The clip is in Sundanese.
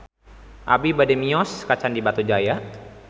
Abi bade mios ka Candi Batujaya